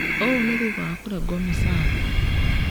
Ũũ nĩ thutha wa kũrengwo mĩcaara